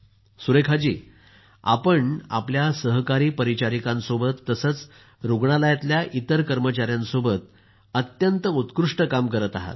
सुरेखा जी आपण आपल्या सहकारी परीचारिकांसोबत तसंच रुग्णालयातल्या इतर कर्मचाऱ्यांसोबत अत्यंत उत्कृष्ट काम करत आहात